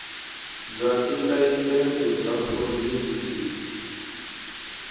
bya tilayisense bya provhinsi lebyi